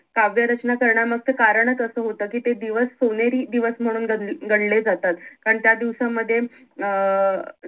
काव्य रचना करण्या मगच कारण च असं होत कि ते दिवस सोनेरी दिवस म्हणून गं न गणले जातात कारण त्या दिवसामध्ये अं